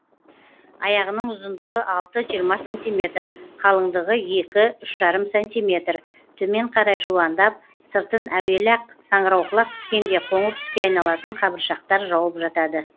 аяғының ұзындығы алты жиырма сантиметр қалыңдығы екі үш жарым сантиметр төмен қарай жуандап сыртын әуелі ақ саңырауқұлақ піскенде қоңыр түске айналатын қабыршақтар жауып жатады